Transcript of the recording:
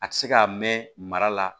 A tɛ se ka mɛn mara la